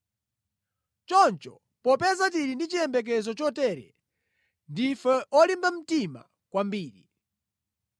Choncho, popeza tili ndi chiyembekezo chotere, ndife olimba mtima kwambiri.